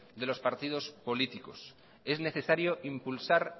de los partidos políticos es necesario impulsar